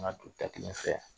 An ka don da kelen fɛ